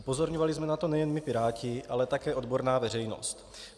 Upozorňovali jsme na to nejen my Piráti, ale také odborná veřejnost.